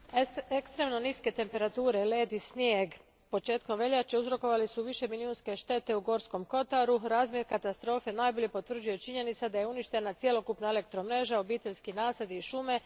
Gospodine predsjedniče, ekstremno niske temperature, led i snijeg početkom veljače uzrokovali su višemilijunske štete u Gorskom kotaru. Razmjer katastrofe najbolje potvrđuje činjenica da je uništena cjelokupna elektromreža, obiteljski nasadi i šume.